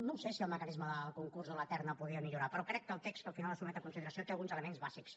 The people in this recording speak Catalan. no ho sé si el mecanisme del concurs o la terna podria millorar però crec que el text que al final es sotmet a consideració té alguns elements bàsics